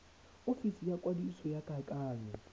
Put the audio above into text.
ofisi ya kwadiso ya kakanyo